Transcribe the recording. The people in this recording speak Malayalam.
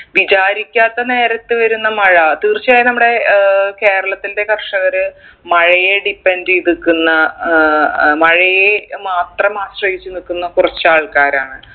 വിചാരിക്കാത്ത നേരത്ത് വരുന്ന മഴ തീർച്ചയായും നമ്മുടെ ഏർ കേരളത്തിന്റെ കർഷകർ മഴയെ depend എയ്ത് നിക്കുന്ന ഏർ മഴയെ മാത്രം ആശ്രയിച്ച് നിക്കുന്ന കുറച്ച് ആൾക്കാരാണ്